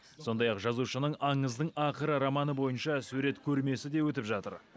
сондай ақ жазушының аңыздың ақыры романы бойынша сурет көрмесі де өтіп жатыр